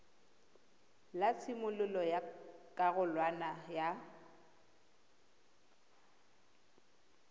la tshimololo ya karolwana ya